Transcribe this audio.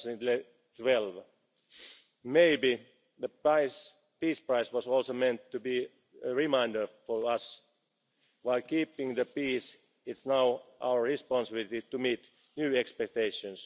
2012. Maybe, the peace prize was also meant to be a reminder to us while keeping the peace, it is now our responsibility to meet new expectations.